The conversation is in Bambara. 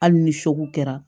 Hali ni kɛra